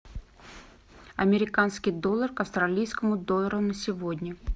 американский доллар к австралийскому доллару на сегодня